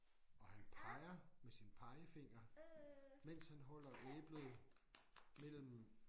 Og han peger med sin pegefinger mens han holder æblet mellem